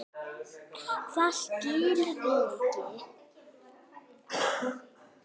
Hvað, skilurðu mig ekki?